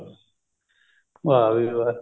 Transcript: ਵਾਹ ਵੀ ਵਾਹ